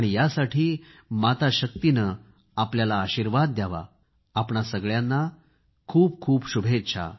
यासाठी माता शक्तीने आपल्याला आशिर्वाद द्यावा आपणा सगळ्यांना खूप खूप शुभेच्छा